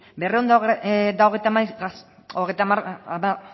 berrehun eta